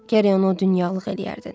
Gərək onu o dünyalıq eləyərdin.